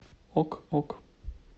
ок ок